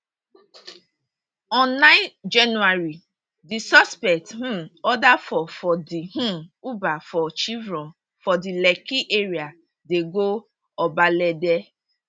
on nine january di suspects um order for for di um uber for chevron for di lekki area dey go obalende